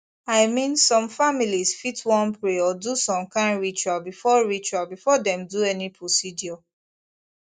i mean some families fit wan pray or do some kind ritual before ritual before dem do any procedure